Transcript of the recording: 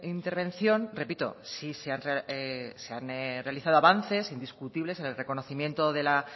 intervención repito sí se han realizado avances indiscutibles en el reconocimiento de las